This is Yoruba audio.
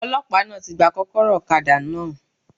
Ọlọ́pàá náà ti gba kókóró òkadá náà